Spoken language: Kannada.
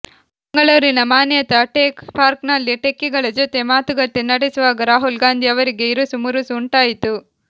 ಬೆಂಗಳೂರಿನ ಮಾನ್ಯತಾ ಟೆಕ್ ಪಾರ್ಕ್ನಲ್ಲಿ ಟೆಕ್ಕಿಗಳ ಜೊತೆ ಮಾತುಕತೆ ನಡೆಸುವಾಗ ರಾಹುಲ್ ಗಾಂಧಿ ಅವರಿಗೆ ಇರಸುಮುರುಸು ಉಂಟಾಯಿತು